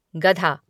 गधा